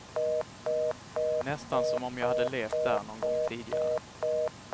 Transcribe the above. Nästan som om jag hade levt där nån gång tidigare.